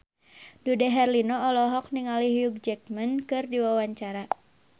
Dude Herlino olohok ningali Hugh Jackman keur diwawancara